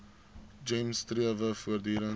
gems strewe voortdurend